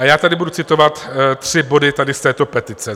A já tady budu citovat tři body tady z této pětice.